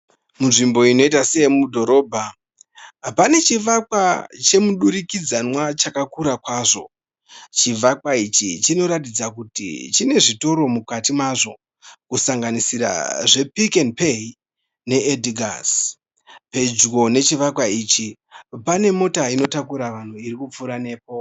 Munzvimbo inoita seyemudhorobha, pane chivakwa chemudurikidzanwa chakakura kwazvo. Chivakwa ichi chinoratidza kuti chine zvitoro mukati mazvo kusanganisira zvePic and Pay neEdgars. Pedyo nechivakwa ichi pane mota inotakura vanhu iri kupfuura nepo.